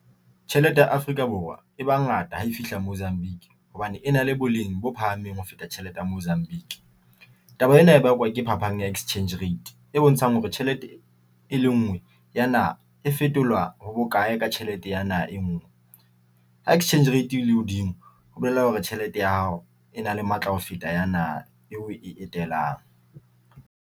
Tjhelete ya Afrika Borwa e ba ngata ha e fihla Mozambique hobane e na le boleng bo phahameng ho feta tjhelete ya Mozambique. Taba ena e bakwa ke phapang ya exchange rate e bontshang hore tjhelete e lengwe ya naha e fetola ho bokae ka tjhelete ya naha e ngwe ha exchange rate e le hodimo ho bolella hore tjhelete ya hao e na le matla ho feta ya naha eo o e etelang.